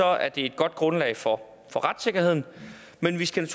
er det et godt grundlag for for retssikkerheden men vi skal